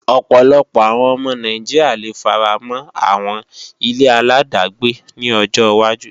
Ọ̀pọ̀lọpọ̀ àwọn ọmọ Nàìjíríà le faramọ́ àwọn ile-aláàdágbé ní ọjọ wájú